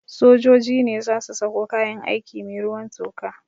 Sojoji ne za su sako kayan aiki mai ruwan toka